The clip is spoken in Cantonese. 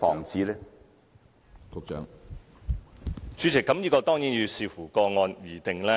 主席，這當然要視乎個案而定。